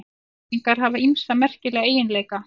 Alhæfingar hafa ýmsa merkilega eiginleika.